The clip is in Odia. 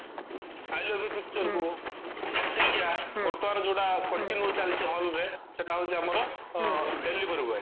i love you pictureକୁ ପ୍ରତିକ୍ଷ୍ୟା ବର୍ତମାନ ଯୋଉଟା continue ଚାଲିଚି hallରେ ସେଟା ହଉଚି ଆମର delivery boy